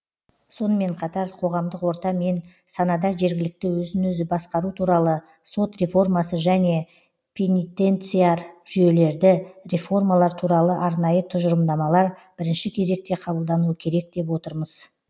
сонымен қатар қоғамдық орта мен санада жергілікті өзін өзі басқару туралы сот реформасы және пенитенциар жүйелерді реформалар туралы арнайы тұжырымдамалар бірінші кезекте қабылдануы керек деп отырмыз